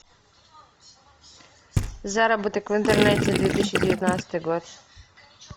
заработок в интернете две тысячи девятнадцатый год